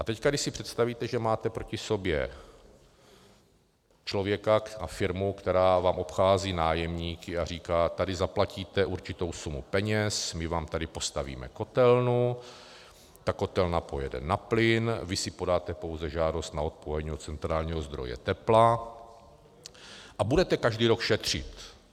A teď když si představíte, že máte proti sobě člověka a firmu, která vám obchází nájemníky a říká, tady zaplatíte určitou sumu peněz, my vám tady postavíme kotelnu, ta kotelna pojede na plyn, vy si podáte pouze žádost na odpojení od centrálního zdroje tepla a budete každý rok šetřit.